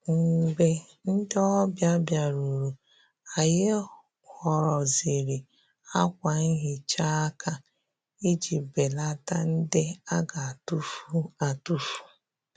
Mgbè ndị́ ọ́bị̀à bìárùrù, ànyị́ họ́rọ́zìrì ákwà nhị́chá áká ìjí bèlàtá ndị́ á gà-àtụ́fù àtụ́fù.